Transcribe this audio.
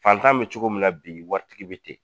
Fantan bɛ cogo min na bi waritigi bɛ ten.